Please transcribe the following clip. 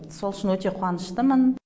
сол үшін өте қуаныштымын